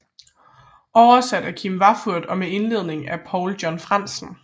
Oversat af Kim Witthoff og med indledning af Paul John Frandsen